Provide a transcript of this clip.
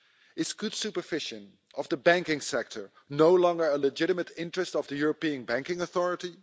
Is good supervision of the banking sector no longer a legitimate interest of the European Banking Authority?